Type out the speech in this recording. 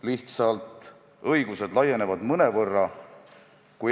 Lihtsalt õigused laienevad mõnevõrra.